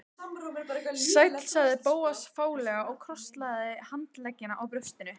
Sæll sagði Bóas fálega og krosslagði handleggina á brjóstinu.